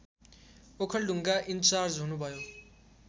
Okhaldhunga in charge हुनुभयो